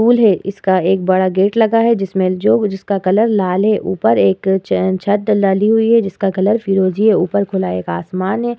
Cool है इसका एक बड़ा गेट लगा है। जिसमे जो जिसका कलर लाल है। ऊपर एक चेन छत डाली हुई है जिसका कलर फिरोजी है। ऊपर खुला एक आसमान है।